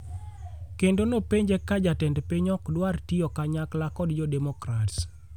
kendo nopenje ka be jatend piny ok dwar tiyo kanyakla kod jo demokrats .